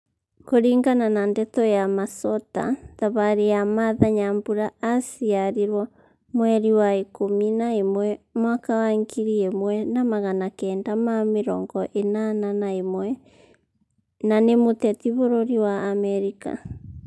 Kũringana na ndeto ya masota thabarĩ ya martha nyambura aciarirwo mweri wa ikumi na ĩmwe mwaka ngiri imwe na magana kenda ma mĩrongo inana na ĩmwe na ni mũteti bũrũri wa Amerika